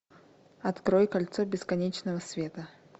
открой кольцо бесконечного света